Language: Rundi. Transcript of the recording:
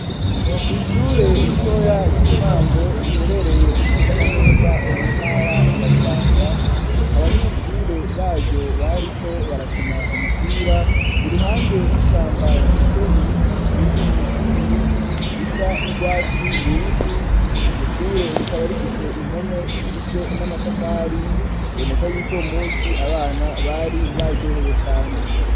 Kw’ishure ritoya ry'intango riherereye nezana neza mu ntara ya bubanza, abanyeshure baryo bariko barakena umupira iruhande y'ishamba rifise ibiti binini binini bisa n'urwatsi rubisi, iryo shure rikaba rifise impome ziga izwe n'amatafari biboneka yuko uwo musi abana bari baryohebo cane.